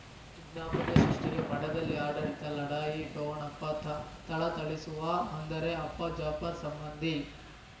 ವಿಜ್ಞಾಪನೆ ಸೃಷ್ಟಿಗೆ ಮಠದಲ್ಲಿ ಆಡಳಿತ ಲಢಾಯಿ ಠೋಣಪ ಥ ಥಳಥಳಿಸುವ ಅಂದರೆ ಅಪ್ಪ ಜಾಫರ್ ಸಂಬಂಧಿ